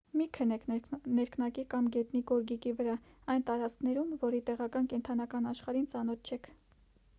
մի քնեք ներքնակի կամ գետնի գորգիկի վրա այն տարածքներում որի տեղական կենդանական աշխարհին ծանոթ չեք